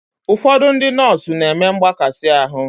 Ụfọdụ ndị nọọsụ n'eme mgbakasi arụ